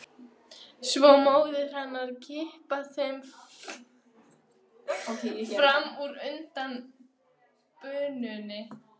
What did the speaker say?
Svo móðir hennar að kippa þeim fram úr undan bununni.